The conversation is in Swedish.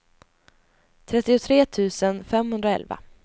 trettiotre tusen femhundraelva